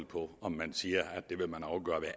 på om man siger